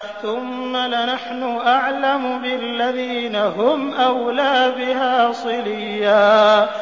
ثُمَّ لَنَحْنُ أَعْلَمُ بِالَّذِينَ هُمْ أَوْلَىٰ بِهَا صِلِيًّا